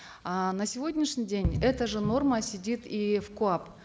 э на сегодняшний день эта же норма сидит и в коап